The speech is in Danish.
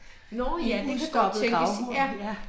En udstoppet gravhund, ja